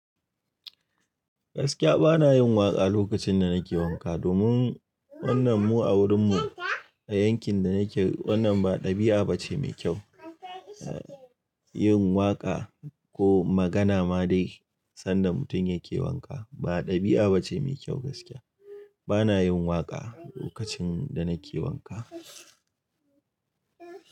Gaskiya bana yin waƙa lokacin da nake wanka. Domin wannan mu a wurin mu a yankin da nake, wannan ba ɗabi'a bace mai kyau, eh yin waƙa ko magana ma dai sanda mutum yake wanka. Ba ɗabi'a bace mai kyau gaskiya. Bana yin waƙa lokacin da nake wanka.